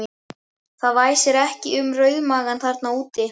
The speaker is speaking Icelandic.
Það væsir ekki um rauðmagann þarna úti!